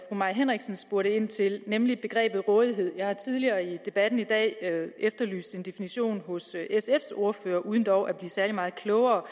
mai henriksen spurgte ind til nemlig begrebet rådighed jeg har tidligere i debatten i dag efterlyst en definition hos sfs ordfører uden dog at blive særlig meget klogere